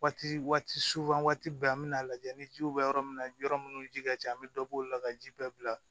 Waati waati bɛɛ an bɛna lajɛ ni jiw bɛ yɔrɔ min na yɔrɔ minnu ji ka ca an bɛ dɔbɔ olu la ka ji bɛɛ bila